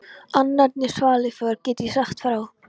Annarri svaðilför get ég sagt frá.